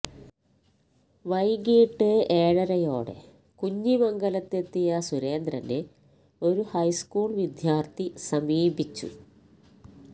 വൈകിട്ട് ഏഴരയോടെ കുഞ്ഞിമംഗലത്തെത്തിയ സുരേന്ദ്രനെ ഒരു ഹൈസ്കൂള് വിദ്യാര്ത്ഥി സമീപിച്ചു